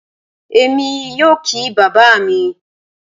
Èmi yóò kí bàbá mi